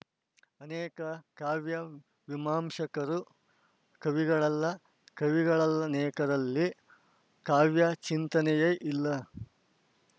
ಅನೇಕ ಕಾವ್ಯಮೀಮಾಂಶಕರು ಕವಿಗಳಲ್ಲ ಕವಿಗಳಲ್ಲ ನೇಕರಲ್ಲಿ ಕಾವ್ಯಚಿಂತನೆಯೇ ಇಲ್ಲ